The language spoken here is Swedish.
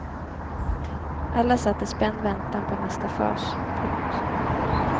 Alla satt i spänd väntan på nästa fas. punkt